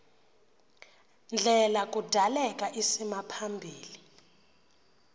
ndlela kudaleka isimaphambili